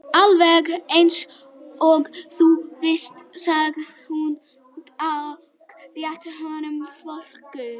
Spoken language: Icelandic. Alveg eins og þú vilt sagði hún og rétti honum flöskuna.